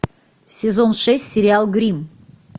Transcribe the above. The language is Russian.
сезон шесть сериал гримм